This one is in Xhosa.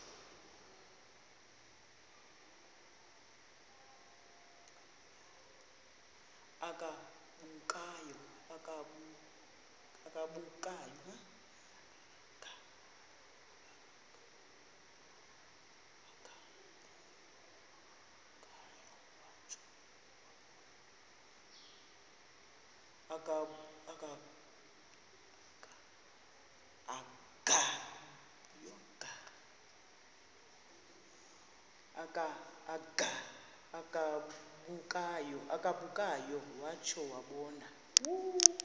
agabukayo watsho wabona